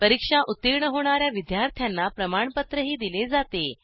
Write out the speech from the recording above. परीक्षा उत्तीर्ण होणा या विद्यार्थ्यांना प्रमाणपत्रही दिले जाते